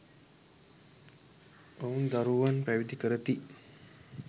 ඔවුන් දරුවන් පැවිදි කරති.